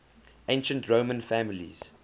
ancient roman families